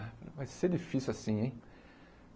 Vai ser difícil assim, hein?